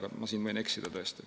Aga ma võin siin eksida.